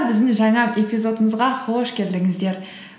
біздің жаңа эпизодымызға қош келдіңіздер